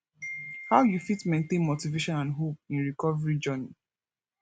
how you fit maintain motivation and hope in recovery journey